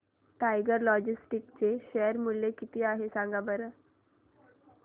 tiger Logistics चे share मूल्य किती आहे सांगा बरं